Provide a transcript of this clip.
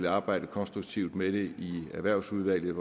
arbejde konstruktivt med det i erhvervsudvalget